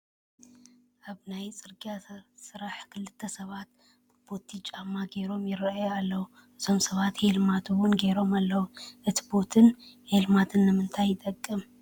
ኣብ ናይ ፅርጊያ ስራሕ ክልተ ሰባት ቦቲ ጫማ ገይሮም ይርአዩ ኣለዉ፡፡ እዞም ሰባት ሄልሜት እውን ገይሮም ኣለዉ፡፡ እቲ ቦትን ሄልሜትን ንምንታይ ይጠቅም?